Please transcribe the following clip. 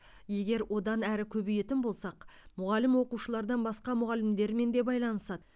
егер одан әрі көбейетін болсақ мұғалім оқушылардан басқа мұғалімдермен де байланысады